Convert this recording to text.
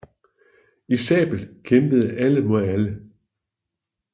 I sabel kæmpede alle mod alle